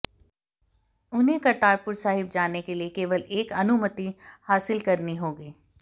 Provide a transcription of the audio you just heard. उन्हें करतारपुर साहिब जाने के लिए केवल एक अनुमति हासिल करनी होगी